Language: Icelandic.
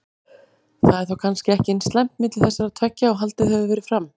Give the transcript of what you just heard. Það er þá kannski ekki eins slæmt milli þessara tveggja og haldið hefur verið fram?